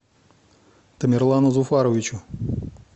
тамерлану зуфаровичу